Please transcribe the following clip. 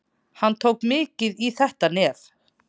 Hann tók mikið í þetta nef.